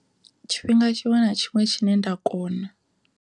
Tshifhinga tshiṅwe na tshiṅwe tshine nda kona.